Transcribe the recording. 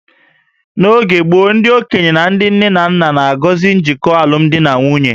N'oge gboo, ndị okenye na ndị nne na nna na-agọzi njikọ alụmdi na nwunye